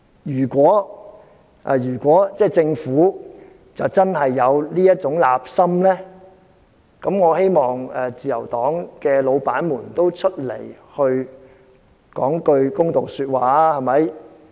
如果政府真的有這種意圖，我希望自由黨的老闆出來說句公道話。